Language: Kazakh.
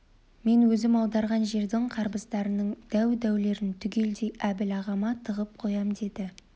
мен өзім аударған жердің қарбыздарының дәу-дәулерін түгелдей әбіл ағама тығып қоям деді